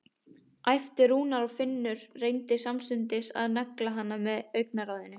æpti Rúna og Finnur reyndi samstundis að negla hana með augnaráðinu.